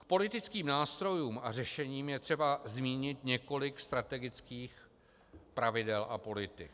K politickým nástrojům a řešením je třeba zmínit několik strategických pravidel a politik.